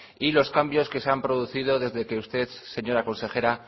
y los cambios que se han producido desde que usted señora consejera